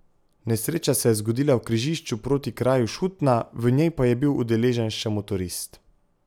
Nesreča se je zgodila v križišču proti kraju Šutna, v njej pa je bil udeležen še motorist.